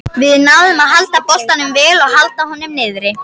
Við náðum að halda boltanum vel og halda honum niðri.